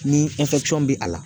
Ni bɛ a la